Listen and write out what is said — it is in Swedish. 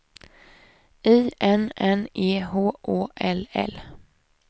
I N N E H Å L L